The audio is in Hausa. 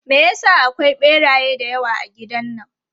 Me ya sa akwai ɓeraye da yawa a gidan nan?